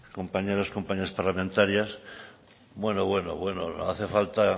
compañeros y compañeras parlamentarias bueno bueno bueno no hace falta